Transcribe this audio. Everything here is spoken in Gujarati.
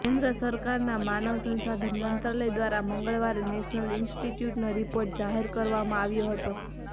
કેન્દ્ર સરકારના માનવ સંશાધન મંત્રાલય દ્વારા મંગળવારે નેશનલ ઈન્સ્ટીટયુટનો રીપોર્ટ જાહેર કરવામાં આવ્યો હતો